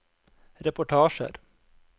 reportasjer